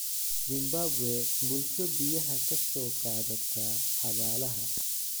Zimbabwe: Bulsho biyaha ka soo qaadata xabaalaha.